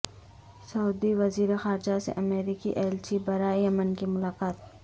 سعودی وزیر خارجہ سے امریکی ایلچی برائے یمن کی ملاقات